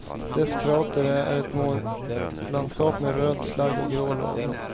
Dess krater är ett månlandskap med röd slagg och grå lava.